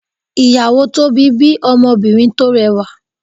iyawo tobi bí Ọmọbinrin tó rẹwa